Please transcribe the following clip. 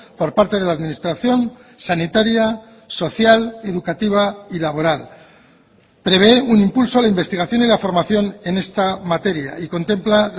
por parte de la administración sanitaria social educativa y laboral prevé un impulso a la investigación y la formación en esta materia y contempla